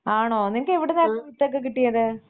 ആണോ നിങ്ങക്ക് എവിടുന്നാ വിത്തോക്കെ കിട്ടിയത്?